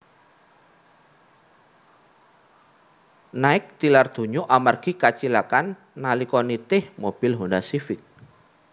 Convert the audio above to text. Nike tilar donya amargi kacilakan nalika nitih mobil Honda Civic